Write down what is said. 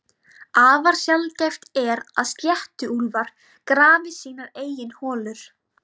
Afar sjaldgæft er að sléttuúlfar grafi sínar eigin holur.